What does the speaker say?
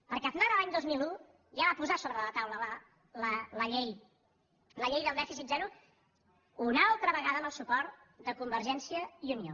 perquè aznar l’any dos mil un ja va posar sobre la taula la llei del dèficit zero una altra vegada amb el suport de convergència i unió